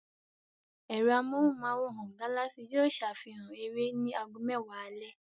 Ẹ̀rọ amóhùmáwòhán Galaxy yóò safihan eré ní ago mẹ́wàá alẹ́.